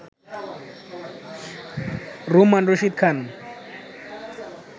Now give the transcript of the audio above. Rumman Rashid Khan